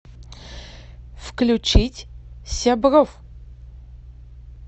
включить сябров